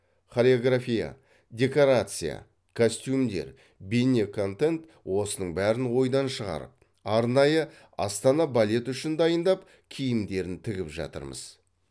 хореография декорация костюмдер бейне контент осының бәрін ойдан шығарып арнайы астана балет үшін дайындап киімдерін тігіп жатырмыз